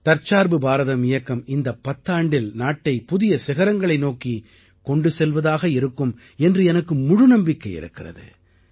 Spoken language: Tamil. தற்சார்பு பாரதம் இயக்கம் இந்தப் பத்தாண்டில் நாட்டை புதிய சிகரங்களை நோக்கிக் கொண்டு செல்வதாக இருக்கும் என்று எனக்கு முழுநம்பிக்கை இருக்கிறது